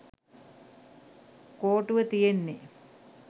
කෝටුව තියෙන්නෙ.